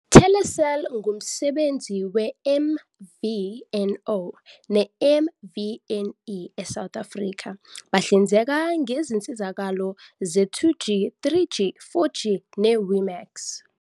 Telecel ngumbenzi we-MVNO ne-MVNE eSouth Africa, bahlinzeka ngezinsizakalo ze-2G, 3G, 4G ne-WIMAX.